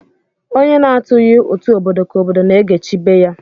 Onye na-atụghi utu obodo ka obodo na-egechi ibe ya